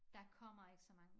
Der kommer ikke så mange